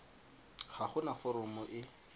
ga go na foromo e